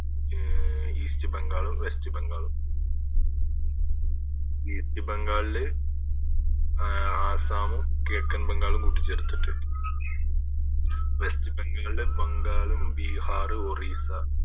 east ബംഗാളും west ബംഗാളും east ബംഗാളിൽ അഹ് ആസ്സാമും കിഴക്കൻ ബംഗാളും കൂട്ടി ചേർത്തിട്ട് വെസ്റ്റ് ബംഗാള് ബംഗാളും ബീഹാറ് ഒറീസ